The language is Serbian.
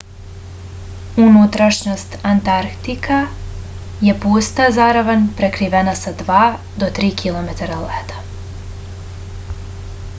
unutrašnjost antartika je pusta zaravan prekrivena sa 2-3 km leda